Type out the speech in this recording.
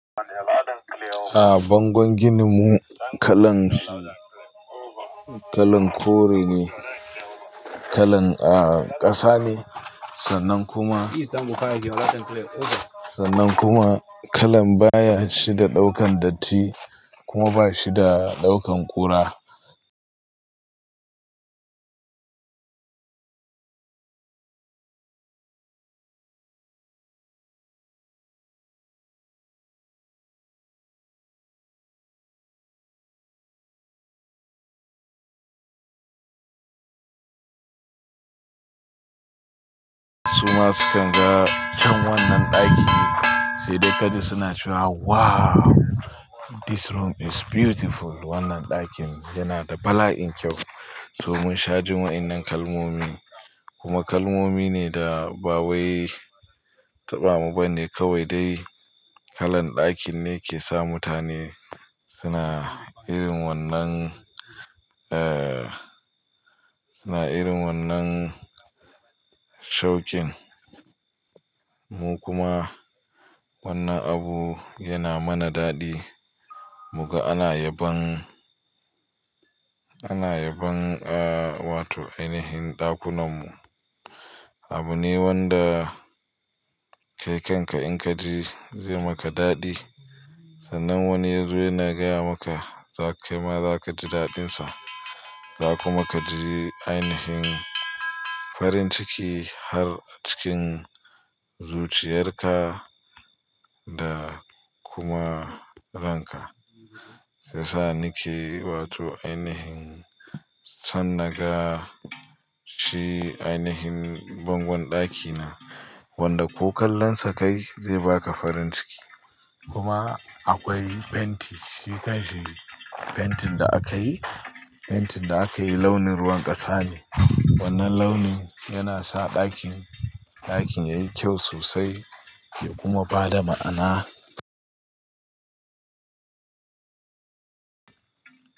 A bangon gininmu kalan, kalan kore ne, kalan a ƙasa ne sannan kuma, sannan kuma kalan baya shi da ɗaukan datti kuma ba shi da ɗaukan kura. Su ma sukan ga cikin wannan ɗaki sai dai kaji suna cewa "Wow! This room is beautiful." Wannan ɗakin yana da bala'in kyau. To mun sha jin wa'innan kalmomi kuma kalmomi ne da ba wai taɓa mu ba ne. Kawai dai kalan ɗakin ne ke sa mutane suna irin wannan, suna irin wannan shokin. Mu kuma wannan abu yana mana daɗi. Muga ana yabon, ana yabon a wato ainihin ɗakunanmu. Abu ne wanda kai kanka in ka ji zai maka daɗi. Sannan wani yazo yana gaya maka za ka kaima za ka ji daɗinsa. Za ku ma ka ji ainihin farin ciki har a cikin zuciyarka da kuma ranka. Shiya sa ni ke wato ainihin son naga shi ainihin bangon ɗakina wanda ko kallon sa kai zai baka farin ciki. Kuma akwai fenti, shi kanshi fentin da aka yi, fentin da aka yi launin ruwan ƙasa ne. Wannan launin yana sa ɗakin, ɗakin yayi kyau sosai ya kuma bada ma'ana.